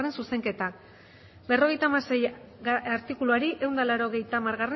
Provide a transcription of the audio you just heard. zuzenketa berrogeita hamaseigarrena artikuluari ehun eta laurogeita hamargarrena